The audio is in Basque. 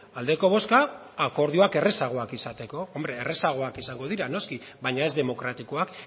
aldeko bozka akordioak errazagoak izateko hombre errazagoak izango dira noski baina ez demokratikoak